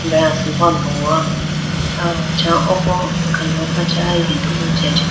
Aya asimbo andogo aw acha oko akano khacha yudugu chi ajiteyi.